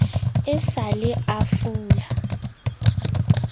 e sa le a fula